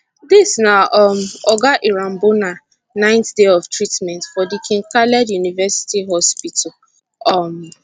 dis na um oga irambona ninth day of treatment for di king khaled university hospital um